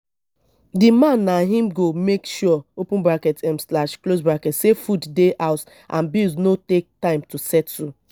di man na im go make sure open bracket um slash close bracket sey food dey house and bills no take time to settle